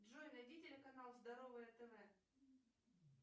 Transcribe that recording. джой найди телеканал здоровое тв